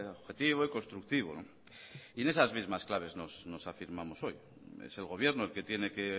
objetivo y constructivo y en esas mismas claves nos afirmamos hoy es el gobierno el que tiene que